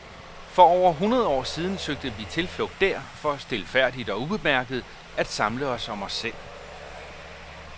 For over hundrede år siden søgte vi tilflugt dér for stilfærdigt og ubemærket at samle os om os selv.